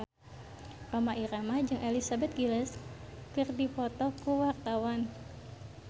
Rhoma Irama jeung Elizabeth Gillies keur dipoto ku wartawan